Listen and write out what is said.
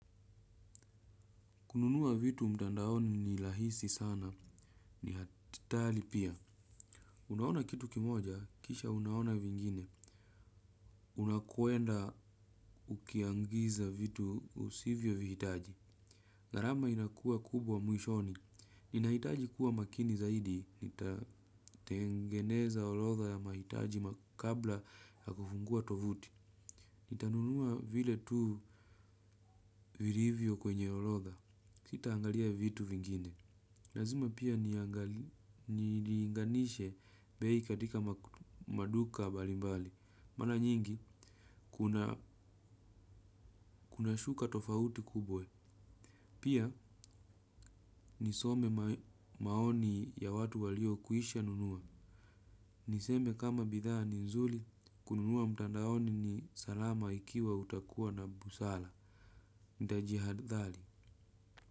Kununua vitu mtandaoni ni lahisi sana ni hatali pia. Unaona kitu kimoja, kisha unaona vingine. Unakuenda ukiangiza vitu usivyo vihitaji. Gharama inakua kubwa muishoni. Ninahitaji kuwa makini zaidi. Tengeneza olodha ya mahitaji makabla ya kufungua tovuti. Nitanunua vile tu virivyo kwenye olodha. Sita angalia vitu vingine. Lazima pia niinganishe bei katika maduka mbalimbali. Mana nyingi, kuna shuka tofauti kubwe. Pia, nisome maoni ya watu waliokwisha nunua. Niseme kama bidhaa ni nzuri, kununua mtandaoni ni salama ikiwa utakuwa na busala. Ntajihadhali.